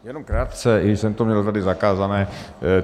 Jenom krátce, i když jsem to měl tady zakázané.